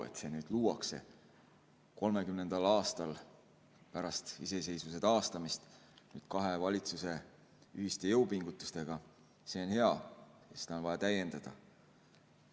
Et see nüüd luuakse 30. aastal pärast iseseisvuse taastamist kahe valitsuse ühiste jõupingutustega, see on hea ja seda on vaja täiendada.